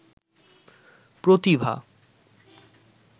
প্রতিভা